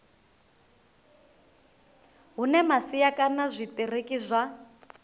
hune masia kana zwitiriki zwa